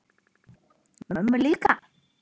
Mömmu líka?